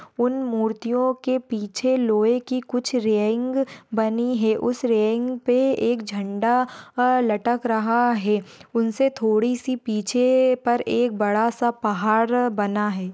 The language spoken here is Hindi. उन मूर्तियों के पीछे लोहे की कुछ रेईंग बनी है उस रेईंग पे एक एक झंडा अह लटक रहा है उनसे थोड़ीसी पीछे पर एक बड़ासा पहार बना है।